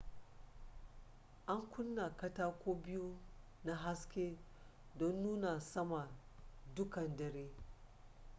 an kunna katako biyu na haske don nuna sama dukkan dare